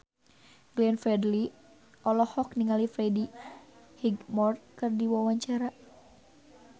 Glenn Fredly olohok ningali Freddie Highmore keur diwawancara